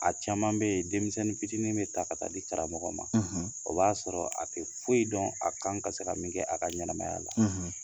A caman bɛ yen denmisɛnnin fitiinin bɛ ta ka taa di karamɔgɔ ma o b'a sɔrɔ a tɛ foyi dɔn a kan ka se ka min kɛ a ka ɲɛnaɛnɛmaya la